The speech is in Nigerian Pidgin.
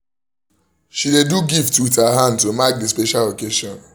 she do gift with her hand to mark the special occasion